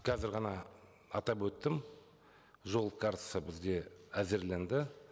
қазір ғана атап өттім жол картасы бізде әзірленді